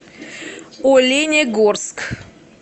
оленегорск